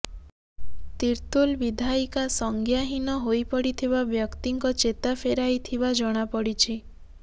ତିର୍ତ୍ତୋଲ ବିଧାୟିକା ସଜ୍ଞାହୀନ ହୋଇପଡ଼ିଥିବା ବ୍ୟକ୍ତିଙ୍କ ଚେତା ଫେରାଇଥିବା ଜଣାପଡ଼ିଛି